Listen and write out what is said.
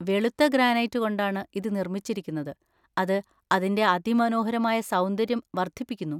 വെളുത്ത ഗ്രാനൈറ്റ് കൊണ്ടാണ് ഇത് നിർമ്മിച്ചിരിക്കുന്നത്, അത് അതിന്‍റെ അതിമനോഹരമായ സൗന്ദര്യം വർദ്ധിപ്പിക്കുന്നു.